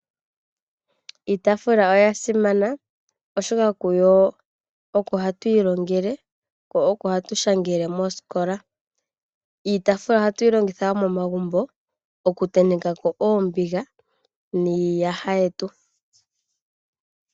Iitaafula oyasimana oshoka kuyo oko hatu ilongele ko oko hatu shangele moosikola. Iitaafula ohatuyi longitha wo momagumbo, okutentekako oombiga niiyaha yetu.